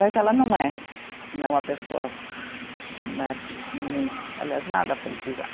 Mas ela não é, né uma pessoa né, mui, aliás, nada politizada.